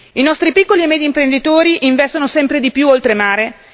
I nostri piccoli e medi imprenditori investono sempre di più oltremare.